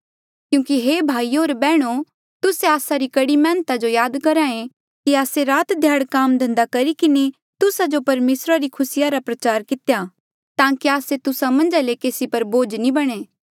क्यूंकि हे भाईयो होर बैहणो तुस्से आस्सा री कढ़ी मैहनता जो याद करहा ऐें कि आस्से रात ध्याड़ काम धंधा करी किन्हें तुस्सा जो परमेसरा री खुसी री खबरा रा प्रचार कितेया ताकि आस्से तुस्सा मन्झा ले केसी पर बोझ नी बणे